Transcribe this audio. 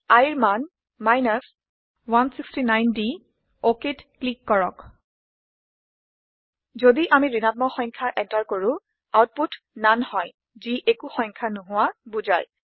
iৰ মান 169 দি OKত ক্লিক কৰক যদি আমি ঋণাত্মক সংখ্যা এন্টাৰ কৰো আউটপুট নান হয় যি একো সংখ্যা নোহোৱা বুজায়